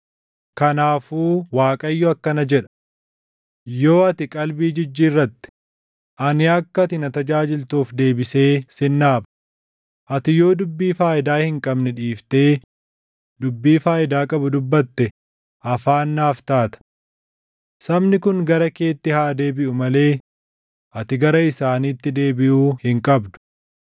Kanaafuu Waaqayyo akkana jedha: “Yoo ati qalbii jijjiirratte, ani akka ati na tajaajiltuuf deebisee sin dhaaba; Ati yoo dubbii faayidaa hin qabne dhiiftee dubbii faayidaa qabu dubbatte afaan naaf taata. Sabni kun gara keetti haa deebiʼuu malee ati gara isaaniitti deebiʼuu hin qabdu.